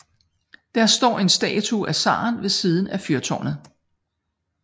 Det står en statue af zaren ved siden af fyrtårnet